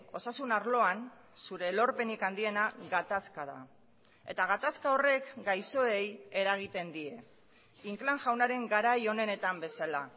osasun arloan zure lorpenik handiena gatazka da eta gatazka horrek gaixoei eragiten die inclán jaunaren garai onenetan bezala